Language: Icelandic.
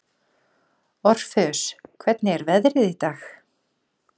Orfeus, hvernig er veðrið í dag?